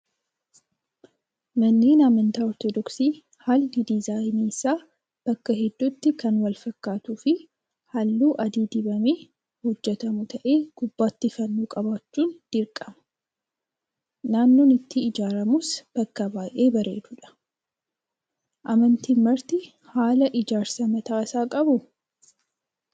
Manneen amantaa ortodoksii haalli diizaayinii isaa bakka hedduutti kan wal fakkaatuu fi halluu adii dibamee hojjatamu ta'ee gubbaatti fannoo qabaachuun dirqama. Naannoon itti ijaaramus bakka baay'ee bareedudha. Amantiin marti haala ijaarsa mataa isaanii qabuu?